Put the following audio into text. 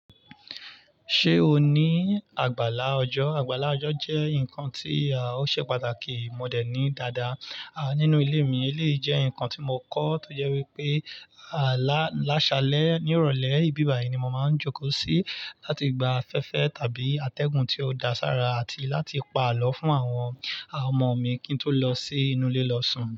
Ṣé o ní àgbàlá ọjọ́? Àgbàlá ọjọ́ jẹ́ nǹkan tí ó ṣe pàtàkì, mo dẹ̀ ní dáadáa. À, nínú ilé mi, lé jẹ́ nǹkan tí mo kọ́ tó jẹ́ wípé, à, láṣalẹ̀ ní ìrọ̀lẹ́ ìbíbàyí ni mo máa ń jókòó sí láti gba afẹ́fẹ́ tàbí atẹ́gùn tí ó da sára àti láti pa àlọ́ fún àwọn àwọn ọmọ mi kí n tó lọ sí inú ilé lọ sùn.